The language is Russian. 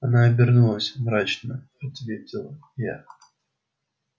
она обернулась мрачно ответил я